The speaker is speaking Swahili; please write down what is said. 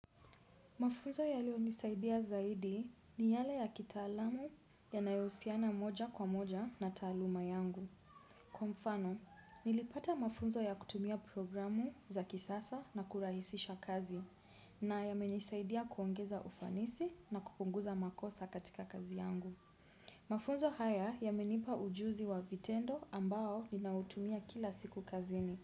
Mafunzo ya leo nisaidia zaidi ni yale ya kita alamu ya nayosiana moja kwa moja na taaluma yangu. Kwa mfano, nilipata mafunzo ya kutumia programu za kisasa na kurahisisha kazi na ya menisaidia kuongeza ufanisi na kupunguza makosa katika kazi yangu. Mafunzo haya ya menipa ujuzi wa vitendo ambao ninautumia kila siku kazini.